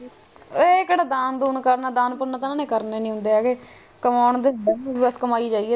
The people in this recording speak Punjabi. ਇਹ ਕਿਹੜਾ ਦਾਨ ਦੂਨ ਕਰਨਾ ਦਾਨ ਪੁਨ ਤਾਂ ਇਨ੍ਹਾਂ ਨੇ ਕਰਨੇ ਹੀ ਨਹੀਂ ਹੇਗੈ ਕੰਮ ਦੇ ਵਿੱਚ ਵਿਅਸਤ ਹੁੰਦੇ ਹੈ ਗੇ ਬਸ ਕਮਾਈ ਜਾਈਏ।